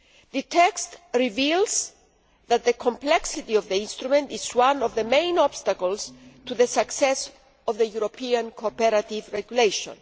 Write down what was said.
The text reveals that the complexity of the instrument is one of the main obstacles to the success of the European Cooperative Regulation.